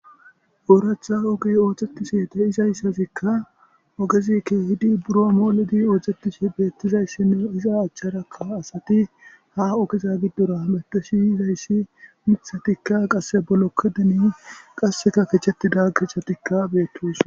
Oraththa ogeyi oththetishshe de'izayisazikka ogezzi kehiddi buro molidi oththetishshe betizayissinne izza achcharakka asati haa ogezza gidora hamuttishshe yizayiss moththatikka qase bolokotenni qasekka kechchetida kechetikka betosona.